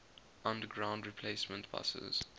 underground replacement buses